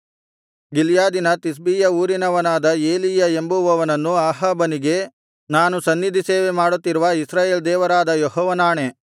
ಗಿಲ್ಯಾದಿನ ತಿಷ್ಬೀಯ ಊರಿನವನಾದ ಎಲೀಯ ಎಂಬುವವನು ಅಹಾಬನಿಗೆ ನಾನು ಸನ್ನಿಧಿಸೇವೆ ಮಾಡುತ್ತಿರುವ ಇಸ್ರಾಯೇಲ್ ದೇವರಾದ ಯೆಹೋವನಾಣೆ